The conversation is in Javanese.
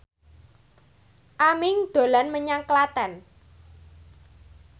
Aming dolan menyang Klaten